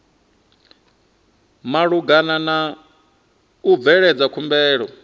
malugana na u bveledza khumbelo